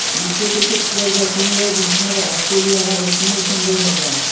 विश्वचषक स्पर्धा तीन वेळा जिंकणारा ऑस्ट्रेलिया हा एकमेव संघ ठरला